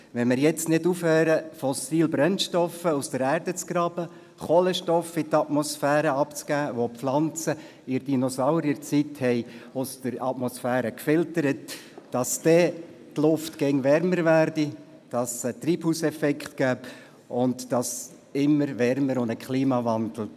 Wenn wir jetzt nicht aufhören würden, fossile Brennstoffe aus der Erde zu graben und Kohlenstoffe in die Atmosphäre abzugeben, die die Pflanzen zur Dinosaurierzeit aus der Atmosphäre gefiltert haben, würde die Luft immer wärmer und es gebe einen Treibhauseffekt und einen Klimawandel.